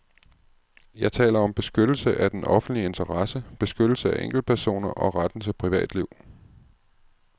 Jeg taler om beskyttelse af den offentlige interesse, beskyttelse af enkeltpersoner og retten til privatliv.